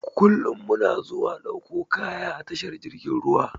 Kullum muna zuwa ɗauko kaya a tashar jirgin ruwa.